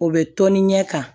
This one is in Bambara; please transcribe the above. O bɛ tɔni ɲɛ kan